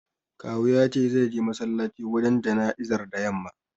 Kawu ya ce zai je masallaci wajen jana'izar da yamma.